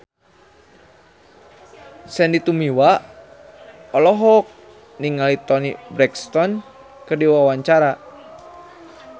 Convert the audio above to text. Sandy Tumiwa olohok ningali Toni Brexton keur diwawancara